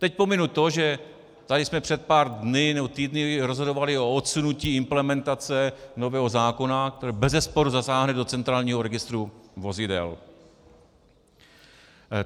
Teď pominu to, že tady jsme před pár dny nebo týdny rozhodovali o odsunutí implementace nového zákona, který bezesporu zasáhne do centrálního registru vozidel.